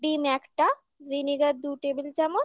ডিম একটা vinegar দু table চামচ